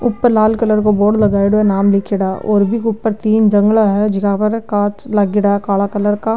ऊपर लाल कलर का बोर्ड लगाईडो है नाम लीखेड़ा और बि के ऊपर तीन जंगला है जीका पर कांच लागेड़ा काला कलर का।